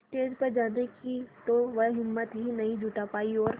stage पर जाने की तो वह हिम्मत ही नहीं जुटा पाई और